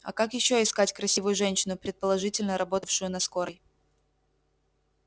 а как ещё искать красивую женщину предположительно работавшую на скорой